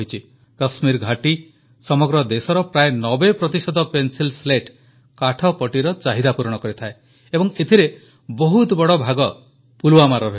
କାଶ୍ମୀର ଘାଟି ସମଗ୍ର ଦେଶର ପ୍ରାୟ 90 ପ୍ରତିଶତ ପେନ୍ସିଲ ସ୍ଲେଟ୍ କାଠପଟିର ଚାହିଦା ପୂରଣ କରିଥାଏ ଏବଂ ଏଥିରେ ବହୁତ ବଡ଼ ଭାଗ ପୁଲୱାମାର ରହିଛି